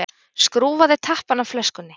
Skrúfaði tappann af flöskunni.